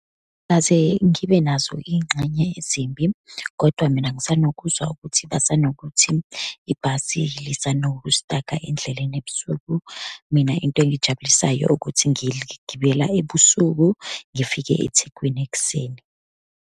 Akaze ngibe nazo iy'ngxenye ezimbi, kodwa mina ngisanokuzwa ukuthi basanokuthi ibhasi lisanokustaka endleleni ebusuku. Mina into engijabulisayo ukuthi ngiligibela ebusuku, ngifike eThekwini ekuseni.